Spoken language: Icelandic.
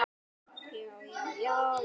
Nú getur hann byrjað.